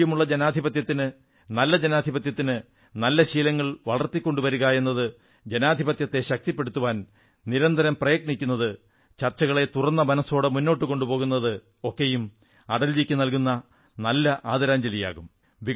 ആരോഗ്യമുള്ള ജനാധിപത്യത്തിന് നല്ല ജനാധിപത്യത്തിന് നല്ല ശീലങ്ങൾ വളർത്തിക്കൊണ്ടുവരുകയെന്നത് ജനാധിപത്യത്തെ ശക്തിപ്പെടുത്താൻ നിരന്തരം പ്രയത്നിക്കുന്നത് ചർച്ചകളെ തുറന്ന മനസ്സോടെ മുന്നോട്ടു കൊണ്ടുപോകുന്നത് ഒക്കെയും അടൽജിയ്ക്ക് നല്കുന്ന നല്ല ആദരാഞ്ജലിയാകും